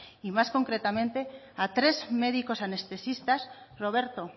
y más concretamente a tres médicos anestesistas roberto